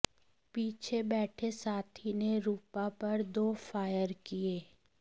पीछे बैठे साथी ने रूपा पर दो फायर किए